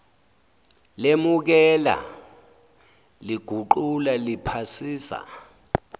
lemukela liguqula liphasisa